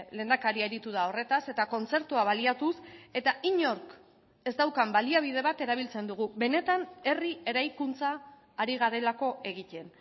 lehendakaria aritu da horretaz eta kontzertua baliatuz eta inork ez daukan baliabide bat erabiltzen dugu benetan herri eraikuntza ari garelako egiten